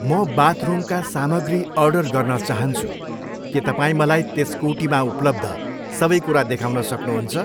म बाथरुमका सामग्री अर्डर गर्न चाहन्छु, के तपाईँ मलाई त्यस कोटीमा उपलब्ध सबै कुरा देखाउन सक्नुहुन्छ?